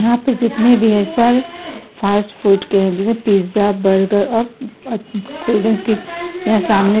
यहाँ पे जितने भी है सल फ़ास्ट फ़ूड के है जैसे पिज़्ज़ा बरगर और ओ कोल्डड्रिंक की सामने--